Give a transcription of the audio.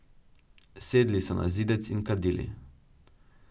Sedli so na zidec in kadili.